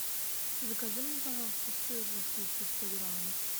закажи мне пожалуйста сыр российский сто грамм